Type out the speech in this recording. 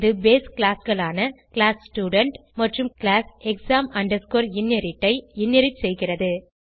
இது பேஸ் classகளான - class student மற்றும் கிளாஸ் exam inherit ஐ இன்ஹெரிட் செய்கிறது